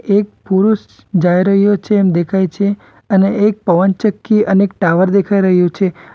એક પુરુષ જાઈ રહ્યો છે એમ દેખાય છે અને એક પવનચક્કી અને એક ટાવર દેખાઈ રહ્યો છે.